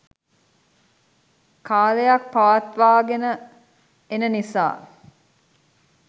කාලයක් පවත්වා ගෙන එන නිසා